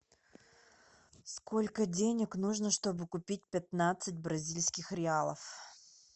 сколько денег нужно чтобы купить пятнадцать бразильских реалов